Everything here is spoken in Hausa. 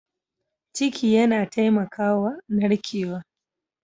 Ciki yana taimakawa narkewa.